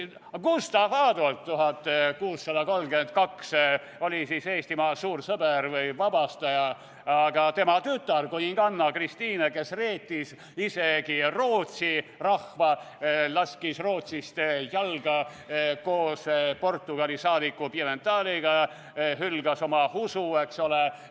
Gustav Adolf oli 1632 Eestimaa suur sõber või vabastaja, aga tema tütar, kuninganna Kristiina reetis isegi Rootsi rahva, laskis Rootsist jalga koos Portugali saadiku Pimenteliga, hülgas oma usu, eks ole.